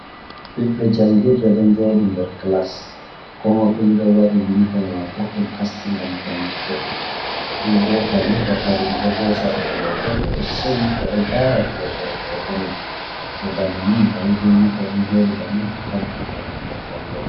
Ɓiɓbe jangirde ɗon jodi nder klas ko moi fu ni ɗo waɗi yunifom mako ɗon taski ngam jangugo, fubo kadi wakkati ɓeɗo hosa ɓe foto ɓeɗo seyi ɓeɗo lara kosowo foto mai, to bana ni moɓeyi be yunifom fu ɗon joɗi bani fu tabutu ɗo pingel jangirde.